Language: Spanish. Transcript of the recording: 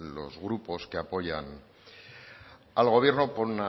los grupos que apoyan al gobierno por